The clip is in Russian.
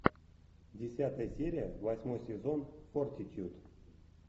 десятая серия восьмой сезон фортитьюд